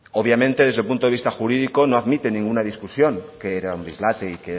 obviamente desde un punto de vista jurídico no admite ningún tipo de discusión que era un dislate